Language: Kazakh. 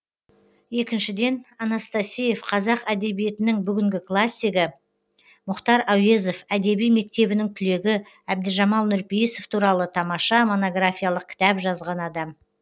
екіншіден анастасеев қазақ әдебиетінің бүгінгі классигі мұхтар әуезов әдеби мектебінің түлегі әбдіжамал нұрпейісов туралы тамаша монографиялық кітап жазған адам